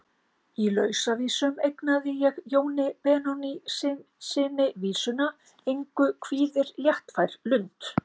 Í Lausavísum eignaði ég Jóni Benónýssyni vísuna: Engu kvíðir léttfær lund.